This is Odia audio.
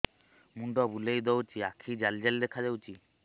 ମୁଣ୍ଡ ବୁଲେଇ ଦଉଚି ଆଖି ଜାଲି ଜାଲି ଦେଖା ଯାଉଚି